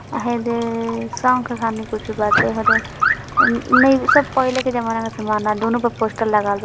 सब पहले के जमाने का सामान लग रहा है। पोस्टर लगा हुआ है |